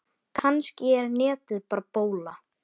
Kannski er netið bara bóla.